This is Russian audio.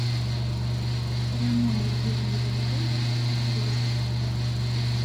прямой эфир ливерпуль против лестера